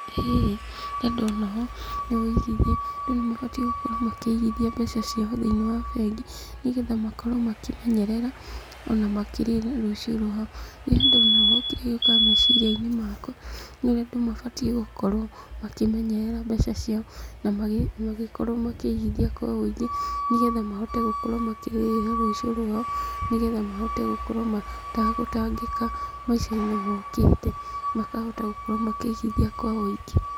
Hihi ũrĩa ndona ho nĩ wũigithia. Andũ nĩ mabatiĩ gũkorwo makĩigithia mbeca ciao thiĩniĩ wa bengi, nĩgetha makorwo makimenyerera ona makirĩra rũciũ rwao. Niĩ ndona ũ kĩrĩa gĩukaga meciria-inĩ makwa nĩ ũrĩa andũ mabatiĩ gũkorwo makĩnyerera mbeca ciao na magĩkorwo makĩigithia kwa wũingĩ, nĩgetha mahote gũkorwo makĩrĩra rũciũ rwao, nĩgetha mahote gũkorwo matagũtangĩka maica-inĩ mokĩte. Makahota gũkorwo makĩigithia kwa wũingĩ.